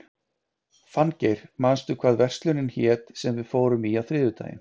Fanngeir, manstu hvað verslunin hét sem við fórum í á þriðjudaginn?